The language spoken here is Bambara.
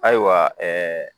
Ayiwa ɛɛ